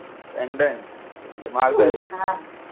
pendant ते महाग जाईल का